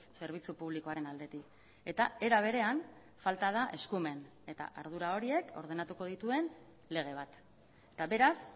zerbitzu publikoaren aldetik eta era berean falta da eskumen eta ardura horiek ordenatuko dituen lege bat eta beraz